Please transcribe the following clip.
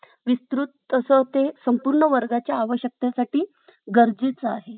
कि तिन्ही बनवलेलं जेवण जगातील सर्वात सुंदर आणि उत्कृष्ट जेवण होते जेव्हा जेव्हा मला तिची गरज भासते तेव्हा मी तिला call करते फोन करते तर